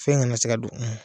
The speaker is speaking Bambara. Fɛn kana se ka don.